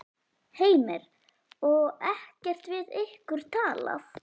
Heimir: Og ekkert við ykkur talað?